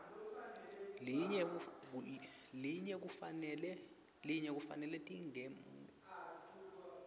linye kufanele tingemukelwa